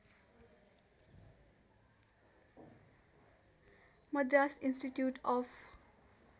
Madras institute of